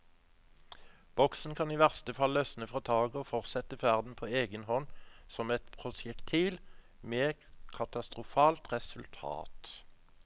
Boksen kan i verste fall løsne fra taket og fortsette ferden på egen hånd som et prosjektil, med katastrofalt resultat.